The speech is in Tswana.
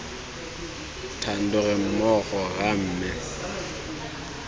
thando re mmogo rra mme